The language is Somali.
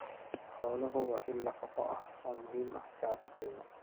Xooluhu waa il nafaqo oo muhiim u ah shacabka Kenya.